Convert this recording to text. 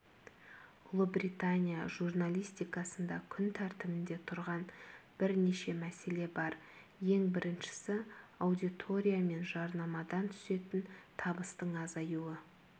ұлыбритания журналистикасында күн тәртібінде тұрған бірнеше мәселе бар ең біріншісі аудитория мен жарнамадан түсетін табыстың азаюы